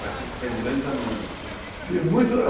Mas fez grandes amigos, assim, fiz muitos